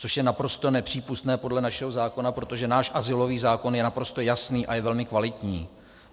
Což je naprosto nepřípustné podle našeho zákona, protože náš azylový zákon je naprosto jasný a je velmi kvalitní.